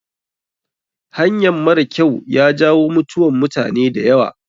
Hanyan mara kyau ya jawo mutuwan mutane da yawa.